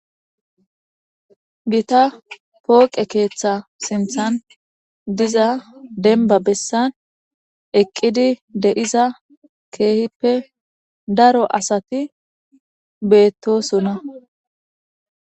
Gita pooqe keeththa sinthan diza dembba bessan eqqidi de7iza keehippe daro asati beettoosona.